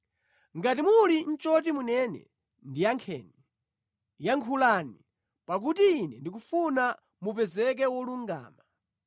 Ngati muli nʼchoti munene, ndiyankheni; yankhulani, pakuti ine ndikufuna mupezeke wolungama.